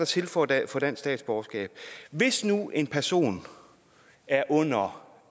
til for at få dansk statsborgerskab hvis nu en person er under